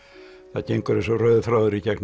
það gengur eins og rauður þráður í gegnum